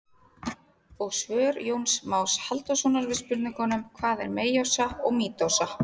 Og svör Jóns Más Halldórssonar við spurningunum: Hvað er meiósa og mítósa?